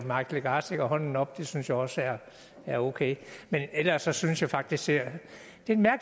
mike legarth rækker hånden op og det synes jeg også er er okay men ellers synes jeg faktisk det